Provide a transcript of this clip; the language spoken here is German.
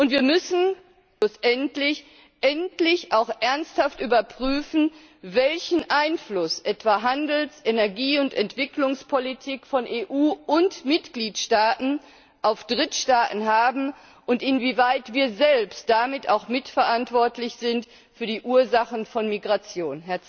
Wir müssen schlussendlich endlich auch ernsthaft überprüfen, welchen Einfluss etwa Handels Energie und Entwicklungspolitik von EU und Mitgliedstaaten auf Drittstaaten haben und inwieweit wir selbst damit auch mit verantwortlich sind für die Ursachen von Migration.